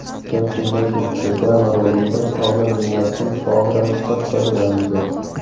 Gap shundaki, reklama roligida olma mevasidan faol ravishda foydalanilgan.